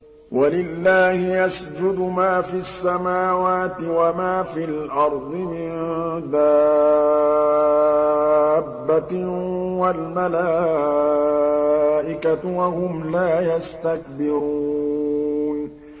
وَلِلَّهِ يَسْجُدُ مَا فِي السَّمَاوَاتِ وَمَا فِي الْأَرْضِ مِن دَابَّةٍ وَالْمَلَائِكَةُ وَهُمْ لَا يَسْتَكْبِرُونَ